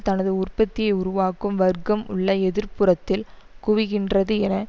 தனது உற்பத்தியை உருவாக்கும் வர்க்கம் உள்ள எதிர் புறத்தில் குவிகின்றது என